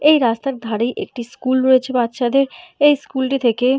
এই রাস্তার ধারে একটি স্কুল রয়েছে বাচ্চাদের এই স্কুল টি থেকে--